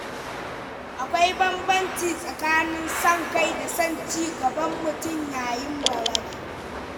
Akwai bambanci tsakanin son kai da son ci gaban mutum yayin balaga.